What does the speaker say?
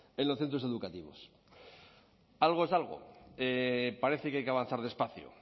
en los centros educativos algo es algo parece que hay que avanzar despacio